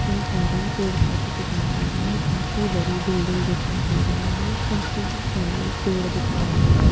कई सारे पेड़-पौधे दिखाई दे रहे हैं काफी बड़ी बिल्डिंग दिखाई दे रही है काफी सारे पेड़ दिखाई दे रहे हैं।